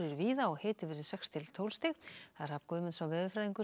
víða hiti sex til tólf stig Hrafn Guðmundsson veðurfræðingur